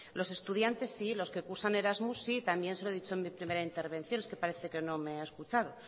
los estudiantes sí los que cursan erasmus sí también se lo he dicho en mi primera intervención es que parece que no me ha escuchado